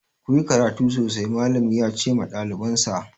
Ku yi karatu sosai! Mallami ya ce ma ɗalibansa.